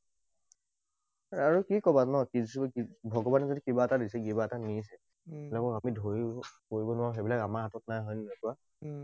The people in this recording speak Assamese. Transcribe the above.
আৰু কি কবা ন? ভগৱানে যদি কিবা এটা দিছে কিবা এটা নিদিছে। আমি ধৰি কৰিব নোৱাৰোঁ সেইবিলাক আমাৰ হাতত নাই, হয় নে নহয় কোৱা?